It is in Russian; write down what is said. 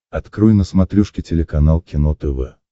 открой на смотрешке телеканал кино тв